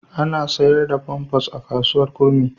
Ana sayar da famfas a kasuwar Kurmi.